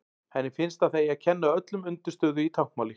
Henni finnst að það eigi að kenna öllum undirstöðu í táknmáli.